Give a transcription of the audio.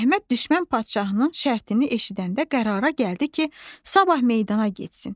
Əhməd düşmən padşahının şərtini eşidəndə qərara gəldi ki, sabah meydana getsin.